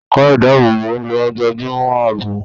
Ẹ̀ka ìdáàbòbò ló ń gbájúmọ́ àbò.